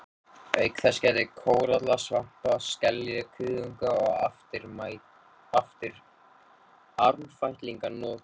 Auk þess gætti kóralla, svampa, skelja, kuðunga og armfætlinga nokkuð.